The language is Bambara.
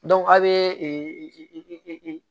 a' bɛ